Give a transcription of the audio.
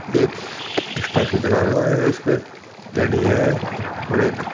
एक स्टेचू धरा हुआ है इसपे रेडी है और एक--